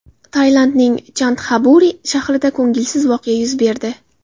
Tailandning Chantxaburi shahrida ko‘ngilsiz voqea yuz berdi.